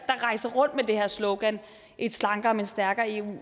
rejser rundt med det her slogan et slankere men stærkere eu